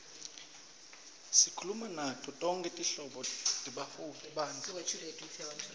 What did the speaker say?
sikhulume nato tonkhe tinhlobo tebantfu